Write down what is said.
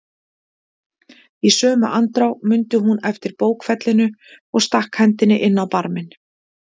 Í sömu andrá mundi hún eftir bókfellinu og stakk hendinni inn á barminn.